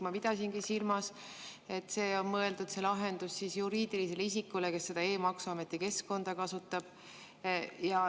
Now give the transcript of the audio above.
Ma pidasingi silmas, et see lahendus on mõeldud juriidilisele isikule, kes seda e-maksuameti keskkonda kasutab.